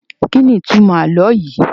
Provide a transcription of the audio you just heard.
Kíni ìtumọ̀ àlọ́ yìí?